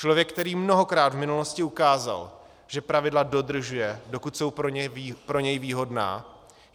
Člověk, který mnohokrát v minulosti ukázal, že pravidla dodržuje, dokud jsou pro něj výhodná.